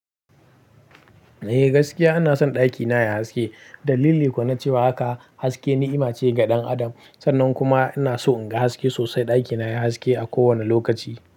Eh gaskiya ana son ɗakina yayi haske. Dalili kuwa na cewa haka haske ni'ima ce ga ɗan adam sannan kuma ina so in ga haske sosai. Ɗakina yayi haske a kowane lokaci.